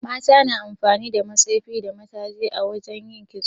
Mata na amfani da matsefi da mataji a wajan yin kitso